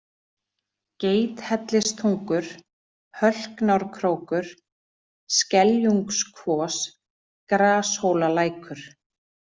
Geithellistungur, Hölknárkrókur, Skeljungskvos, Grashólalækur